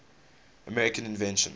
american inventions